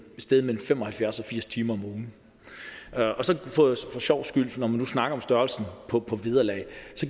sted mellem fem og halvfjerds og firs timer om ugen og så for sjovs skyld når man nu snakker om størrelsen på på vederlag